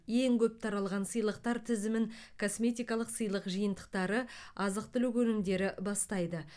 ең көп таралған сыйлықтар тізімін косметикалық сыйлық жиынтықтары азық түлік өнімдері бастайды